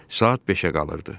Saat 5-ə qalırdı.